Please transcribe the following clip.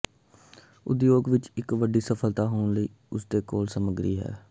ਉਦਯੋਗ ਵਿੱਚ ਇੱਕ ਵੱਡੀ ਸਫਲਤਾ ਹੋਣ ਲਈ ਉਸਦੇ ਕੋਲ ਸਮੱਗਰੀ ਹੈ